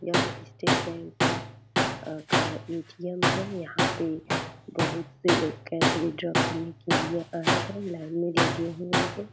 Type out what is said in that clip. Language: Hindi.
यह स्टेट बैंक का ए.टी.एम. है यहाँ पे बहोत से लोग कैश विड्रॉल करने के लिए आये है लाइन में लगे हुए है।